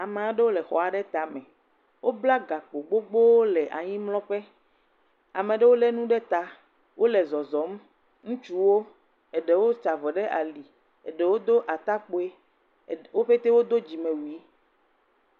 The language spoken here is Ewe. Ame aɖewo le àxɔ aɖe tame. Wo bla gakpo wò ɖe anyimlɔ ƒe. Ame ɖewo le nu ɖe ta. Wole zɔzɔm. Ŋutsuwo, eɖewo da avɔ ɖe ali, eɖewo Do atakpui. Wo petee wodo dzime wuie.